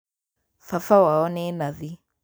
Baba wao nĩ nathi